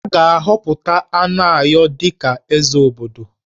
A ga-ahọpụta Anayo dị ka Eze obodo